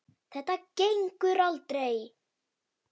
Þetta gengur aldrei.